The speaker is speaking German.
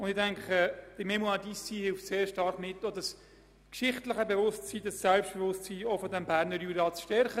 Ich denke, die «Fondation Mémoires d’Ici» trägt damit sehr stark dazu bei, dieses geschichtliche Bewusstsein und auch das Selbstbewusstsein des Berner Juras zu stärken.